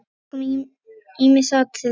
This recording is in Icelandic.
Við tókum ýmis atriði.